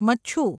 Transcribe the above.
Machchhu